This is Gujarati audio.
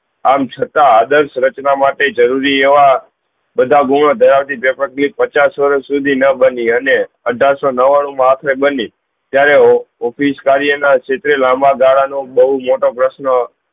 આમ છતાં આદર્શ રચના માટે જરૂરી એવા બધા ગુણ ધરાવતી પચાસ વર્ષ સુધી ન બની અને અઠાર સૌ નવ્વાણું મા આપને બની ત્યાર office કાર્ય ના ક્ષેત્રે લાંબા દહાડા નો બહુ મોટો પ્રશ્ન